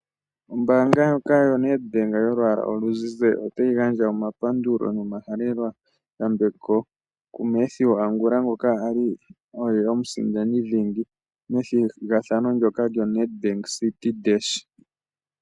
Ombaanga ndjoka yo NedBank yolwaala oluzizi, otayi gandja omapandulo nomahaleloyambeko ku Matthew Angula ngoka ali oye omusindani dhingi methigathano ndyoka lyo NedBank Citi Dash.